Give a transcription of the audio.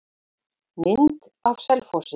Mynd af Selfossi.